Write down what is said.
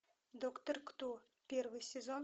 доктор кто первый сезон